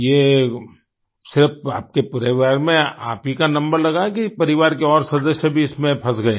ये सिर्फ आपके पूरे वेव में आप ही का नंबर लगा है कि परिवार के और सदस्य भी इसमें फंस गए है